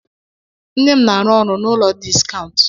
Nne m na-arụ ọrụ n'ụlọ Diskaụnt.